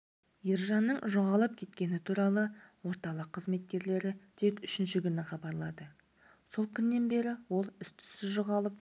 ержанның жоғалып кеткені туралы орталық қызметкерлері тек үшінші күні хабарлады сол күннен бері ол іс-түссіз жоғалып